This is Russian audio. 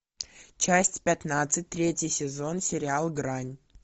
часть пятнадцать третий сезон сериал грань